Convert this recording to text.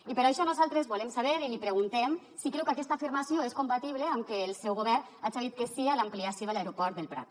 i per això nosaltres volem saber i li preguntem si creu que aquesta afirmació és compatible amb què el seu govern haja dit que sí a l’ampliació de l’aeroport del prat